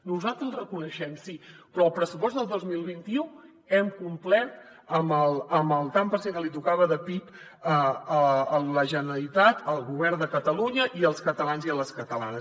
nosaltres els reconeixem sí però al pressupost del dos mil vint u hem complert amb el tant per cent que li tocava de pib a la generalitat al govern de catalunya i als catalans i a les catalanes